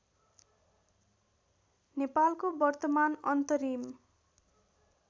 नेपालको वर्तमान अन्तरिम